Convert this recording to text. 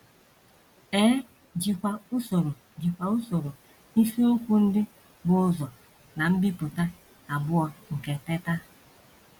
E jikwa usoro jikwa usoro isiokwu ndị bu ụzọ ná mbipụta abụọ nke Teta!